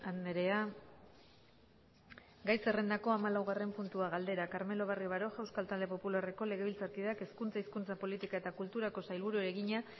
andrea gai zerrendako hamalaugarren puntua galdera carmelo barrio baroja euskal talde popularreko legebiltzarkideak hezkuntza hizkuntza politika eta kulturako sailburuari egina